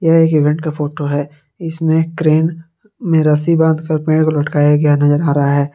ये एक इवेंट का फोटो है इसमें क्रेन में रस्सी बांध कर पेड़ को लटकाया गया नजर आ रहा है।